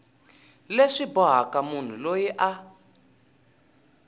leswi bohaka munhu loyi a